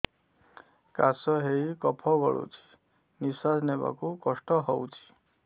କାଶ ହେଇ କଫ ଗଳୁଛି ନିଶ୍ୱାସ ନେବାକୁ କଷ୍ଟ ହଉଛି